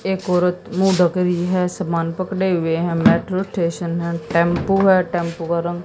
एक औरत मुंह ढक रही है सामान पकड़े हुए है मेट्रो स्टेशन है टेंपू है टेंपू का रंग--